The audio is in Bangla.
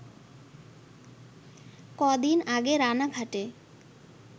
ক’দিন আগে রানাঘাটে